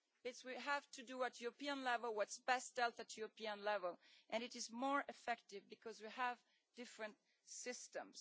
It is that we have to do at European level what is best dealt at European level and it is more effective because we have different systems.